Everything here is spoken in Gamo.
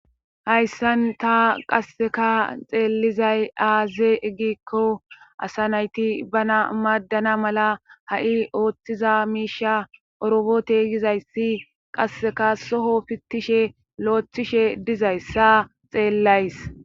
Hayssan ta qasseka xeellizay aaze eggiikko asa nayti bana maaddana mala ha'i ooththiza miisha orobote gizayssi qasseka soho pittishe loeththishe dizayssa xeellays.